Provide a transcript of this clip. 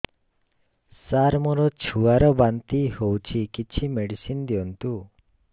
ସାର ମୋର ଛୁଆ ର ବାନ୍ତି ହଉଚି କିଛି ମେଡିସିନ ଦିଅନ୍ତୁ